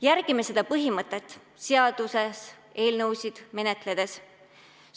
Järgime seda põhimõtet seaduseelnõusid menetledes!